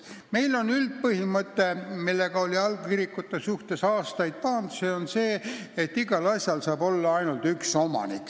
Meil on küll üldpõhimõte, et igal asjal saab olla ainult üks omanik.